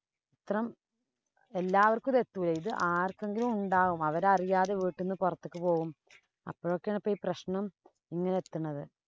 എല്ലാര്‍ക്കും ഇത് എത്തൂല. ഇത് ആര്‍ക്കെങ്കിലും ഉണ്ടാകും. അവരറിയാതെ വീട്ടിന്നു പൊറത്തേക്ക് പോവും. അപ്പോഴൊക്കെയാണ് ഈ പ്രശ്നം ഇങ്ങനെ ഏത്തണത്.